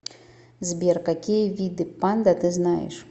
сбер какие виды панда ты знаешь